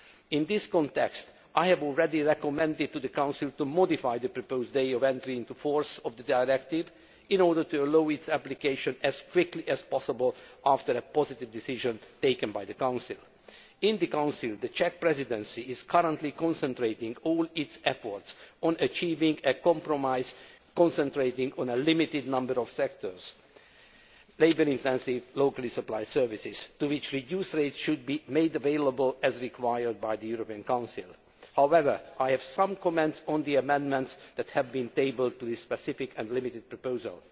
In this context, I have already recommended to the Council to modify the proposed date of entry into force of the directive, in order to allow its application as quickly as possible after a positive decision is taken by the Council. In the Council, the Czech Presidency is currently concentrating all its efforts on achieving a compromise concentrating on a limited number of sectors labour intensive, locally supplied services to which reduced rates should be made available, as required by the European Council. However, I have some comments on the amendments that have been tabled to this specific and limited proposal.